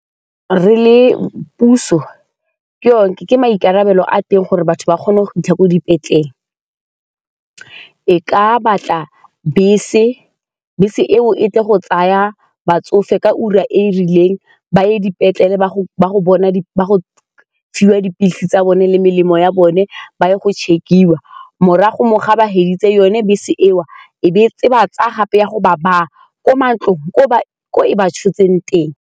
Re le puso, ke maikarabelo a teng gore batho ba kgone go fitlha ko dipetleleng e ka batla bese, bese eo e tle go tsaya batsofe ka ura e e rileng ba ye dipetlele ba go fiwa dipilisi tsa bone le melemo ya bone ba ya go check-iwa morago mo ga ba feditse yone bese eo e ba tsaya gape ya go ba baya kwa mantlong ko e ba tshotseng teng.